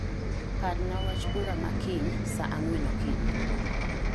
Parna wach bura ma kiny saa ang'wen okinyi